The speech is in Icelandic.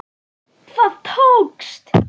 Það tókst.